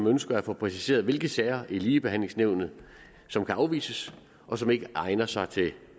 ønsker at få præciseret hvilke sager i ligebehandlingsnævnet som kan afvises og som ikke egner sig til